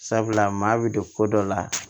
Sabula maa bɛ don ko dɔ la